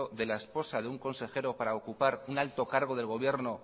de la esposa de un consejero para ocupar un alto cargo del gobierno